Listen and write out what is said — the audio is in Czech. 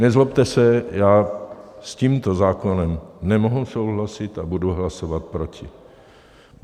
Nezlobte se, já s tímto zákonem nemohu souhlasit a budu hlasovat proti.